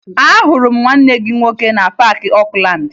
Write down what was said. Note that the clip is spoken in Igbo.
Ahụrụ m nwanne gị nwoke na Paakị Okulaandị